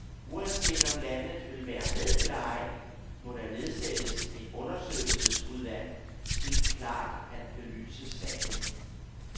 Uanset om landet vil være med eller ej, må der nedsættes et undersøgelsesudvalg til klart at belyse sagen.